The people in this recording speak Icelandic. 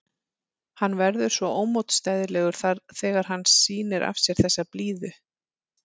Hann verður svo ómótstæðilegur þegar hann sýnir af sér þessa blíðu.